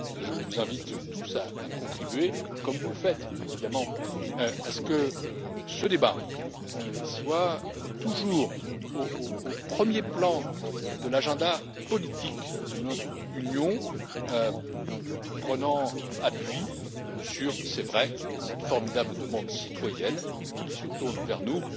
Je vous invite tous à contribuer, comme vous le faites évidemment, à ce que ce débat soit toujours au premier plan de l'agenda politique de notre Union, prenant appui sur c'est vrai cette formidable demande citoyenne qui se tourne vers nous.